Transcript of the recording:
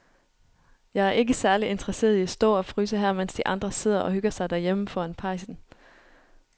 Jeg er ikke særlig interesseret i at stå og fryse her, mens de andre sidder og hygger sig derhjemme foran pejsen.